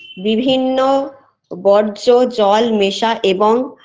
বিভিন্ন বর্জ্য জল মেশা এবং